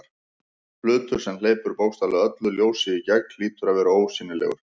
Hlutur sem hleypir bókstaflega öllu ljósi í gegn hlýtur að vera ósýnilegur.